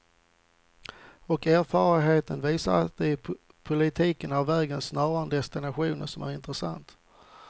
Och erfarenheten visar att det i politiken är vägen snarare än destinationen som är intressant.